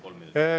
Kolm minutit.